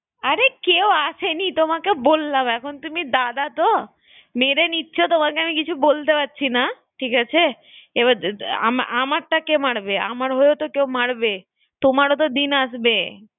আরে কেও আসেনি তোমাকে বললাম এখন তুমি দাদা তো মেরে নিচ্ছ তোমাকে কিছু বলতে পারছি না ঠিক আছে এবার ~আমারটা কে মারবে? আমার হয়েও তো কেও মারবে তোমারো তো দিন আসবে